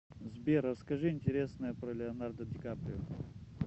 сбер расскажи интересное про леонардо ди каприо